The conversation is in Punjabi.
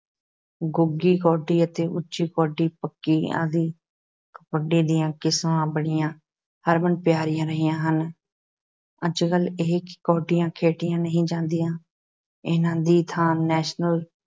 ਗੂੰਗੀ ਕੌਡੀ ਅਤੇ ਉੱਚੀ ਕੌਡੀ ਪੱਕੀ ਆਦਿ ਕਬੱਡੀ ਦੀਆਂ ਕਿਸਮਾਂ ਬੜੀਆਂ ਹਰਮਨ-ਪਿਆਰੀਆਂ ਰਹੀਆਂ ਹਨ, ਅੱਜ-ਕੱਲ੍ਹ ਇਹ ਕੌਡੀਆਂ ਖੇਡੀਆਂ ਨਹੀਂ ਜਾਂਦੀਆਂ ਇਹਨਾਂ ਦੀ ਥਾਂ ਨੈਸ਼ਨਲ